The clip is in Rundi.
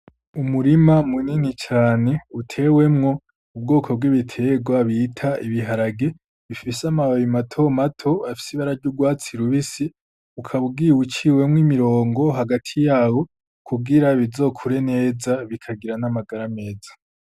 Umurima munini cane utewemwo ubwoko bw'ibiterwa bita ibiharage bifise amababi mato mato afise ibara ry’urwatsi rubisi, ukaba ugiye uciwemwo imirongo hagati yawo kugira bizokure neza bikagira n’amagara meza.